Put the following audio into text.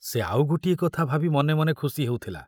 ଆଉ ଗୋଟିଏ କଥା ଭାବି ମନେ ମନେ ଖୁସି ହେଉଥିଲା।